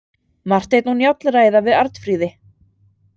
Marteinn og Njáll ræða við Arnfríði.